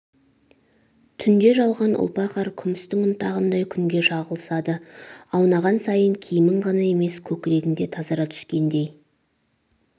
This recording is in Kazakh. түнде жауған ұлпа қар күмістің ұнтағындай күнге шағылысады аунаған сайын киімің ғана емес көкрегің де тазара түскендей